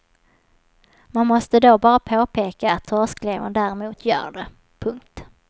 Man måste då bara påpeka att torsklevern däremot gör det. punkt